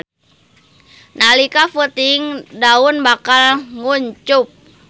Nalika peuting daun bakal nguncup.